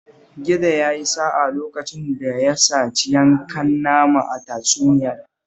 Gizo ya yi sa'a lokacin da ya saci yankan nama a tatsuniyar